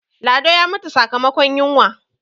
lado ya mutu sakamakon yinwa